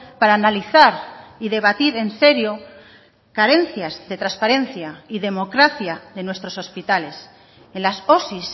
para analizar y debatir en serio carencias de transparencia y democracia de nuestros hospitales en las osi